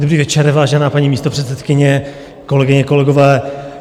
Dobrý večer, vážená paní místopředsedkyně, kolegyně, kolegové.